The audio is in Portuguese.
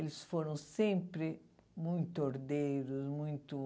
Eles foram sempre muito ordeiros, muito